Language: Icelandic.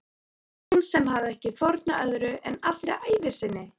Hún sem hafði ekki fórnað öðru en allri ævi sinni.